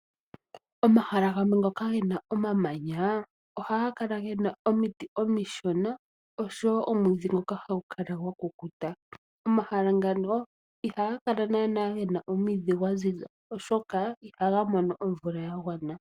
Omahala gamwe ngoka gena omamanyaa, ohagakala gena omiti omishona osho woo omwiidhi ngoka hagukala gwakukuta. Omahala ngano ihagakala nana gena omwiidhi gwaziza, oshoka ihagamono omvula yagwana.